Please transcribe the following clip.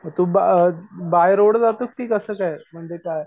तूबा अ बाहेर जातो कि कस काय? म्हणजे काय?